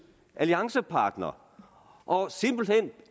alliancepartner og simpelt hen